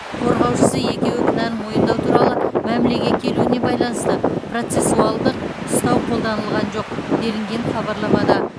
қорғаушысы екеуі кінәні мойындау туралы мәмілеге келуіне байланысты процессуалдық ұстау қолданылған жоқ делінген хабарламада